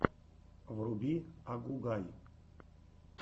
вруби агугай